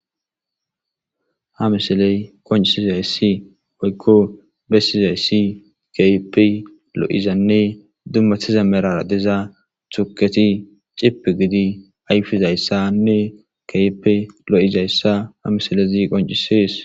ha misiley qoncisizayssi woykko bessizayssi kehippe lo'izanne dummatiza medhora diza tuketi cipi gidi ayfizayssanne kehipe lo'izayssa ha misilezi qoncisees